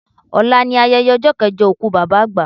Ọlá ni ayẹyẹ ọjọ́ kẹjọ òkú Bàbá àgbà